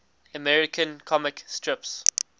american comic strips